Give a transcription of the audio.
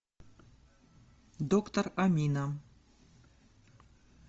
доктор амина